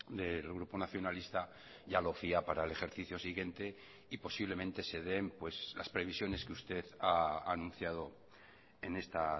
del grupo nacionalista ya lo fía para el ejercicio siguiente y posiblemente se den las previsiones que usted ha anunciado en esta